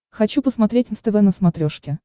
хочу посмотреть нств на смотрешке